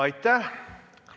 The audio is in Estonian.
Aitäh!